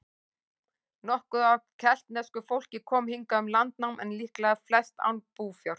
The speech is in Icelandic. Nokkuð af keltnesku fólk kom hingað um landnám, en líklega flest án búfjár.